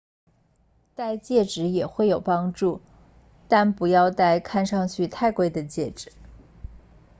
戴戒指也会有帮助但不要戴看上去太贵的戒指